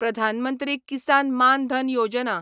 Pradhan Mantri Kisan Maan Dhan Yojana